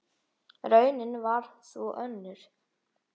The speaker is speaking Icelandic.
Raunin varð þó önnur.